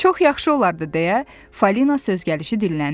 Çox yaxşı olardı deyə Fəlinə söz gəlişi dilləndi.